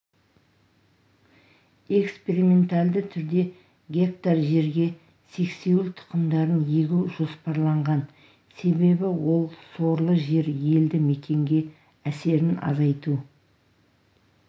экспериментальді түрде гектар жерге сексеуіл тұқымдарын егу жоспарланған себебі ол сорлы жер елді мекенге әсерін азайту